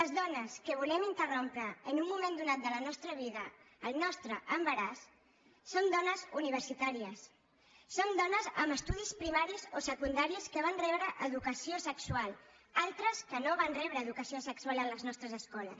les dones que volem interrompre en un moment donat de la nostra vida el nostre embaràs som dones universitàries som dones amb estudis primaris o secundaris que vam rebre educació sexual altres que no van rebre educació sexual a les nostres escoles